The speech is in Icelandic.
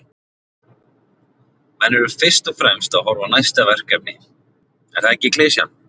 Menn eru fyrst og fremst að horfa á næsta verkefni, er það ekki klisjan?